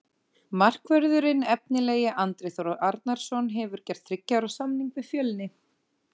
Markvörðurinn efnilegi Andri Þór Arnarson hefur gert þriggja ára samning við Fjölni.